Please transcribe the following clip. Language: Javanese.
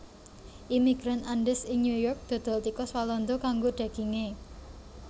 Imigran Andes ing New York dodol tikus walanda kanggo daginge